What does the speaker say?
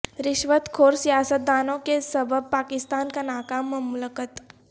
رشوت خور سیاست دانوں کے سبب پاکستان ناکام مملکت